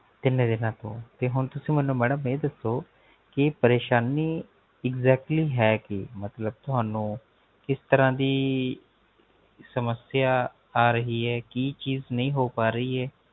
ਕਿੰਨੇ ਦਿਨਾ ਤੋ? ਤੇ ਹੁਣ ਤੁਸੀਂ Madam ਇਹ ਦੱਸੋ ਕੀ ਪਰੇਸ਼ਾਨੀ exactly ਹੈ ਕੀ ਮਤਲਬ ਤੁਹਾਨੂੰ ਕਿਸ ਤਰਾਂ ਦੀ ਸਮਸਿਆ ਆ ਰਹੀ ਹੈ ਕੀ ਚੀਜ਼ ਨਹੀਂ ਹੋ ਪਾ ਰਹੀ ਹੈ